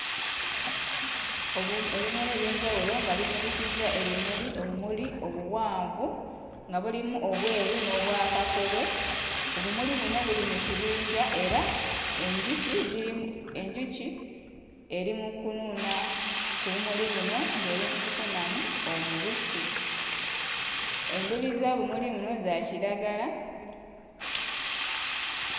Obum, ebimera eby'enjawulo nga bimulisizza ebimuli, obumuli obuwanvu nga bulimu obweru n'obwa kakobe, obumuli buno buli mu kibinja era enjuki ziri mu, enjuki eri mu kunuuna ku bumuli buno ng'eri mu kufunamu omubisi, enduli z'obumuli buno za kiragala...